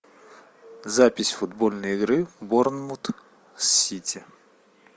запись футбольной игры борнмут с сити